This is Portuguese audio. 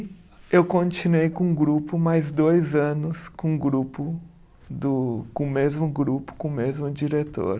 Eu continuei com o grupo mais dois anos, com o grupo do, com o mesmo grupo, com o mesmo diretor.